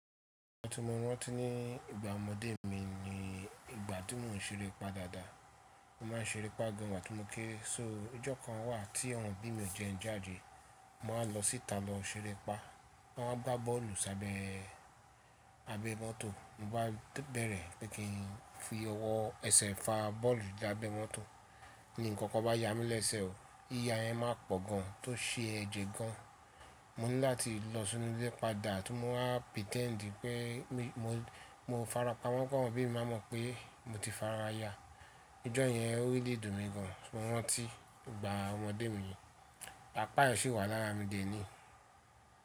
Ìgbà tí mò rántí ní ìgbà ọmọdé mi ni ìgbà tí mò ń ṣeré pa dáadáa. Mo má ń ṣeré pa gan ìgbà tí mo ké. So ọjọ́ kan wà tí àwọn òbí mi ò jẹ njádé, mo máa lọ síta lọ ṣeré pa. Wọ́n máa gbá bọ́ọ̀lù s’abẹ́ abẹ mọ́tò. Mo bá bẹ̀rẹ̀ pé kí n fi ọwọ́ ẹsẹ̀ fa bọ́ọ̀lù lábẹ́ mọ́tò. Ni nǹkan kan bá ya mí léṣe o, iya yẹn máa pọ̀ gan tó ṣe ẹ̀jẹ̀ gan. Mo ní láti lọ sínú ilé padà, àtún mo máa pẹ̀tẹ́ǹdì pé mi mo farapa. Wọ́n kí àwọn òbí mi má mọ̀ pé mo ti faraya. Ọjọ́ yẹn orílẹ̀ dùn mí gan, wọ́n ti ìgbà ọmọdé mi yẹn. Apá ẹ ṣe wà lára mi dè é ní.